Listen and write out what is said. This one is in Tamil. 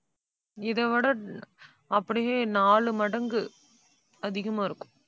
இதை விட அப்படியே நாலு மடங்கு அதிகமா இருக்கும்.